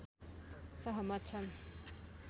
सहमत छन्।